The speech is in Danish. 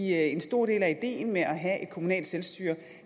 en stor del af ideen med at have et kommunalt selvstyre